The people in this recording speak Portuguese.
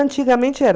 Antigamente era.